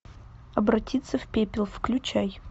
обратиться в пепел включай